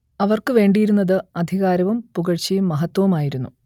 അവർക്കുവേണ്ടിയിരുന്നത് അധികാരവും പുകഴ്ച്ചയും മഹത്ത്വവും ആയിരുന്നു